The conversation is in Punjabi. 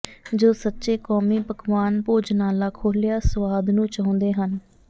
ਜੋ ਸੱਚੇ ਕੌਮੀ ਪਕਵਾਨ ਭੋਜਨਾਲਾ ਖੋਲ੍ਹਿਆ ਸੁਆਦ ਨੂੰ ਚਾਹੁੰਦੇ ਹਨ